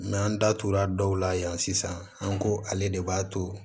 an datugura dɔw la yan sisan an ko ale de b'a to